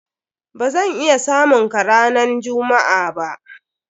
Ba zan iya samun ka ranan jummu'a ba.